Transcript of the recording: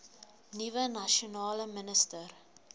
nuwe nasionale minister